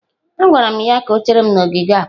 Agwara m ya ka o chere m n'ogige akpa.